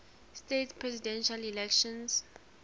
states presidential election